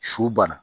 Su bana